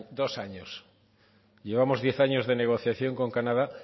dos años llevamos diez años de negociación con canadá